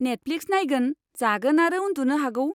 Netflix नायगोन, जागोन आरो उन्दुनो हागौ।